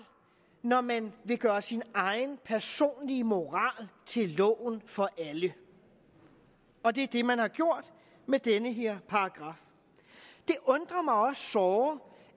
når man vil gøre sin egen personlige moral til loven for alle og det er det man har gjort med den her paragraf det undrer mig også såre